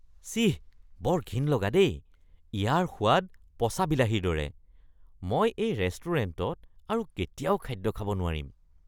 ছিঃ! বৰ ঘিণ লগা দেই! ইয়াৰ সোৱাদ পচা বিলাহীৰ দৰে, মই এই ৰেষ্টুৰেণ্টত আৰু কেতিয়াও খাদ্য খাব নোৱাৰিম।